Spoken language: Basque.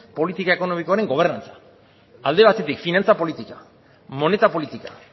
politika ekonomikoaren gobernantzan alde batetik finantza politika moneta politika